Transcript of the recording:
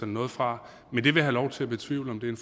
noget fra men jeg vil have lov til at betvivle om det